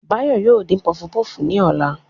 Báyọ̀ yóò dín pọfupọ́ọ̀fù ní ọ̀la